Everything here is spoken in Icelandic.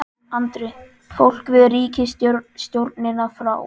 Andri: Fólk vill ríkisstjórnina frá?